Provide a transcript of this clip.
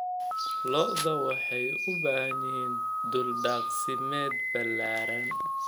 Lo'da lo'da waxay u baahan yihiin dhul daaqsimeed ballaaran.